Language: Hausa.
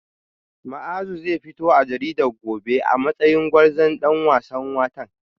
Muazu zai fito a jarida gobe a matsayin gwarzon dan wasan watan